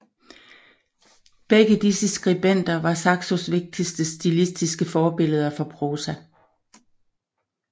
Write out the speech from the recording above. Begge disse skribenter var Saxos vigtigste stilistiske forbilleder for prosa